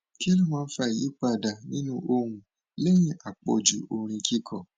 kí ló máa ń fa ìyípadà nínú ohun lẹyìn àpọjù orin kíkọ